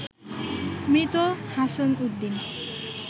মৃত হাছন উদ্দিন